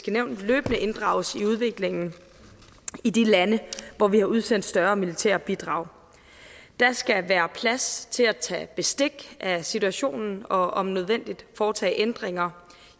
nævn løbende inddrages i udviklingen i de lande hvor vi har udsendt større militære bidrag der skal være plads til at tage bestik af situationen og om nødvendigt foretage ændringer